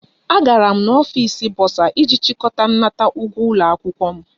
Agara m n'ọfịs bọsa iji chịkọta nnata ụgwọ ụlọ akwụkwọ m